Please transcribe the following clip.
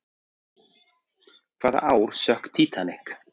Hvaða ár sökk Titanic?